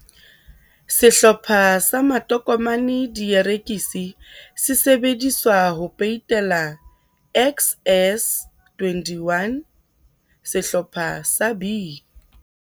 Sehlopha sa Matokomane Dierekisi sesebediswa ho peitela, XS21 sehlopha sa B.